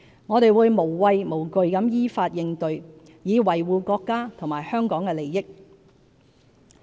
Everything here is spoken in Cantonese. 我們會無畏無懼地依法應對，以維護國家和香港的利益。